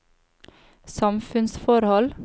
samfunnsforhold